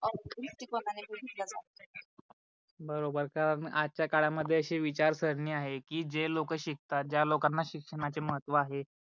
बरोबर कारण आजच्या काळा मध्ये अशी विचारसरणी आहे की जे लोक शिकतात ज्या लोकांना शिक्षणाचे महत्व आहे